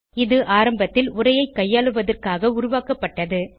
இது ஆரம்பத்தில் உரையைக் கையாளுவதற்காக உருவாக்கப்பட்டது